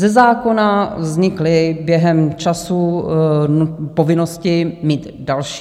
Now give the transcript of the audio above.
Ze zákona vznikly během času povinnosti mít další.